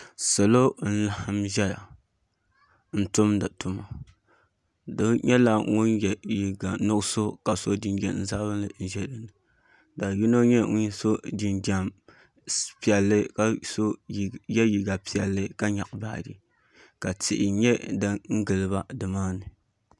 Salo n laɣam ʒɛya n tumdi tuma doo nyɛla ŋun yɛ liiga nuɣso ka so jinjɛm sabinli ʒɛ dinni ka yino nyɛ ŋun so jinjɛm piɛlli ka yɛ liiga piɛlli ka nyaɣa baaji ka tihi nyɛ din giliba dimaani